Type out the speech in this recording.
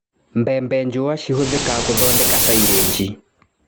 Mbembe njua cihũthĩkaga gũthondeka silĩji.